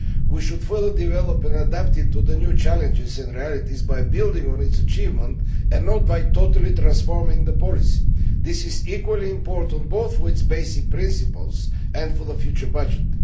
We should further develop and adapt it to the new challenges and realities by building on its achievements and not by totally transforming the policy. This is equally important both for its basic principles and for the future budget.